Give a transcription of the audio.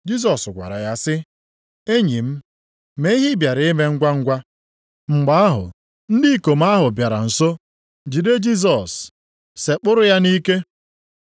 Jisọs gwara ya sị, “Enyi m, mee ihe ị bịara ime ngwangwa.” Mgbe ahụ, ndị ikom ahụ bịara nso jide Jisọs, sekpụrụ ya nʼike.